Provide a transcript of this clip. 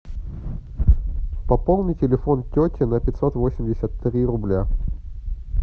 пополни телефон тети на пятьсот восемьдесят три рубля